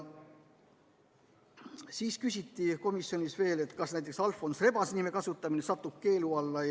Siis küsiti komisjonis veel seda, kas näiteks Alfons Rebase nime kasutamine satub keelu alla.